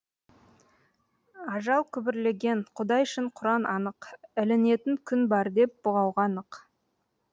ажал күбірлеген құдай шын құран анық ілінетін күн бар деп бұғауға нық